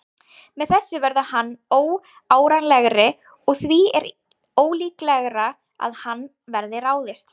Með þessu verður hann óárennilegri og því er ólíklegra að á hann verði ráðist.